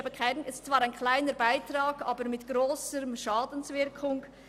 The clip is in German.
es ist zwar ein kleiner Beitrag, aber mit grosser Schadenswirkung.